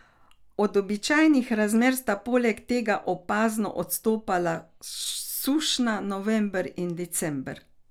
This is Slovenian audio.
Od običajnih razmer sta poleg tega opazno odstopala sušna november in december.